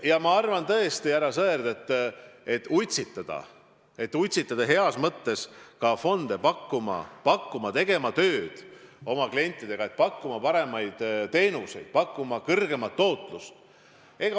Ja ma arvan tõesti, härra Sõerd, et tuleb utsitada heas mõttes utsitada ka fonde tegema tööd oma klientidega, pakkuma paremaid teenuseid, pakkuma kõrgemat tootlust.